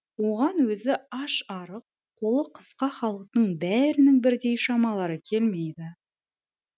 оған өзі аш арық қолы қысқа халықтың бәрінің бірдей шамалары келмейді